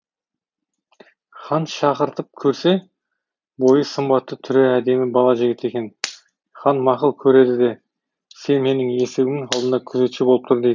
хан шақыртып көрсе бойы сымбатты түрі әдемі бала жігіт екен хан мақұл көреді де сен менің есігімнің алдында күзетші болып тұр дейді